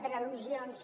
per al·lusions